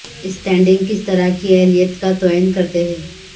standing کس طرح کی اہلیت کا تعین کرتے ہیں